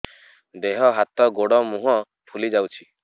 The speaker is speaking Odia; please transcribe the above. ଦେହ ହାତ ଗୋଡୋ ମୁହଁ ଫୁଲି ଯାଉଛି